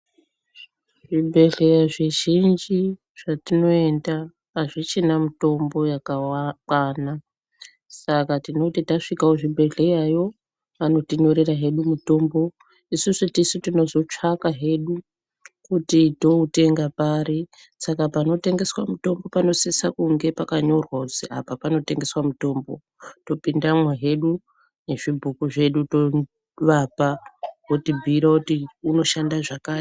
Zvibhehlera zvizhinji zvatinoenda azvichina mitombo yakakwana saka tinoti tasvikeyo kuchibheleyayo anotinyorera hedu mutombo isusu tisu tinozotsvaka hedu kuti toutenga pari ,saka panotengeswa mutombo panosisa kunge pakanyorwa kuti apa panotengeswa mutombo topindamwo hedu nezvibhuku zvedu tovapa votimbhuyire kuti uyu unoshanda zvakati.